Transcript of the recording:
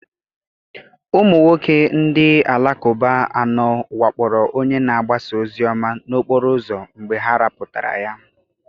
Ụmụ nwoke ndị Alakụba anọ wakporo onye na-agbasa ozi ọma n'okporo ụzọ mgbe ha rapụtara ya.